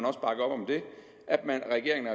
regeringen